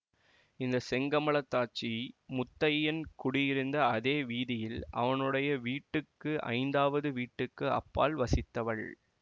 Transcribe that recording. இந்த செங்கமலத்தாச்சி முத்தையன் குடியிருந்த அதே வீதியில் அவனுடைய வீட்டுக்கு ஐந்தாவது வீட்டுக்கு அப்பால் வசித்தவள்